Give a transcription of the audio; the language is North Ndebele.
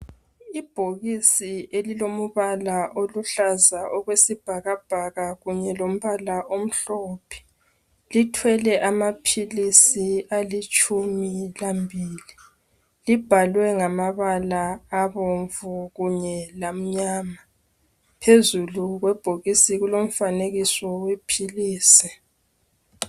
Ibhokisi elilomubala oluhlaza okwesibhakabhaka kunye lombala omhlophe lithwela amaphilisi alitshumi lambili libhalwe ngamabala abomvu kunye lamnyama phezulu kwebhokisi kulomfanekiso wephilizi.